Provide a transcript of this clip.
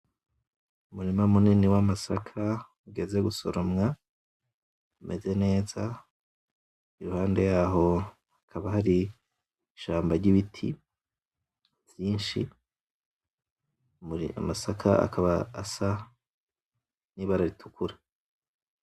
Umurima munini w’amasaka ugeze gusoromwa umeze neza , iruhande yaho hakaba hari ishamba ry’ibiti vyinshi , muri amasaka akaba asa n’ibara ritukura.